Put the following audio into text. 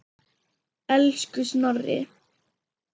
Elsku Snorri.